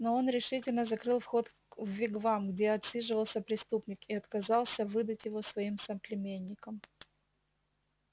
но он решительно закрыл вход в вигвам где отсиживался преступник и отказался выдать его своим соплеменникам